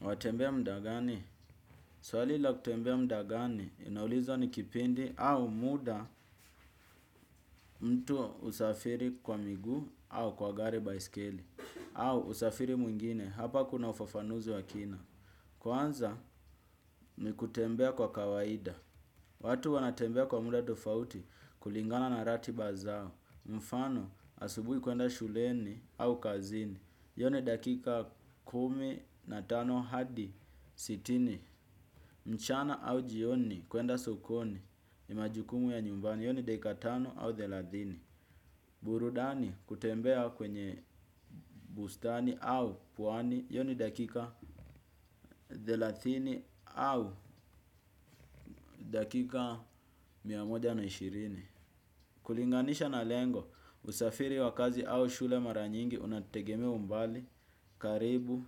Watembea muda gani? Swali la kutembea muda gani, inaulizwa ni kipindi au muda mtu husafiri kwa miguu au kwa gari baiskeli. Au usafiri mwingine, hapa kuna ufafanuzi wakina. Kwanza, nikutembea kwa kawaida. Watu wanatembea kwa muda tofauti kulingana na ratiba zao. Mfano, asubuhi kuenda shuleni au kazini. Hiyo ni dakika kumi na tano hadi sitini. Mchana au jioni kuenda sokoni ni majukumu ya nyumbani hiyo ni dakika tano au thelathini. Burudani kutembea kwenye bustani au pwani hiyo ni dakika thelathini au dakika mia moja na ishirini. Kulinganisha na lengo usafiri wa kazi au shule maranyingi unategemea umbali karibu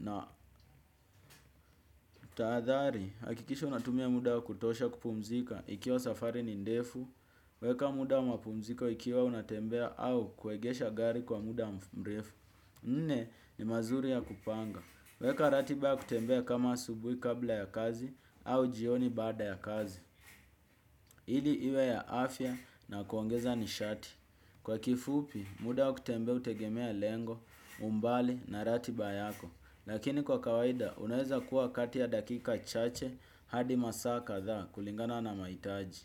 na tahathari. Hakikisha unatumia muda wa kutosha kupumzika ikiwa safari ni ndefu. Weka muda wa mapumziko ikiwa unatembea au kuegesha gari kwa muda mrefu. Nne ni mazuri ya kupanga. Weka ratiba kutembea kama asubuhi kabla ya kazi au jioni baada ya kazi. Ili iwe ya afya na kuongeza nishati kwa kifupi muda wa kutembea hutegemea lengo, umbali na ratiba yako. Lakini kwa kawaida unaweza kuwa kati ya dakika chache hadi masaa kadhaa kulingana na mahitaji.